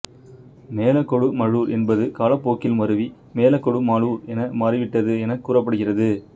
மேலக்கொடுமழுர் என்பது காலப் போக்கில் மருவி மேலக்கொடுமலூர் என மாறிவிட்டது எனக் கூறப்படுகிறது